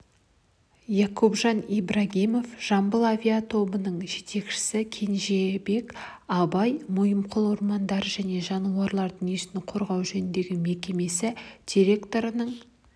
якупжан ибрагимов жамбыл авиатобының жетекшісі кенжебек абай мойынқұм ормандары және жануарлар дүниесін қорғау жөніндегі мекемесі директорының